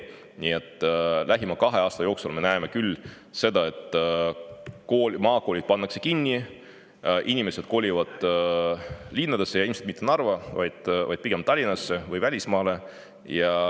Nii et lähima kahe aasta jooksul me näeme seda, et maakoolid pannakse kinni, inimesed kolivad linnadesse ja ilmselt mitte Narva, vaid pigem Tallinnasse või välismaale.